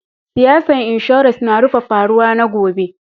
Siyasan insurance na rufe faruwa na gobe.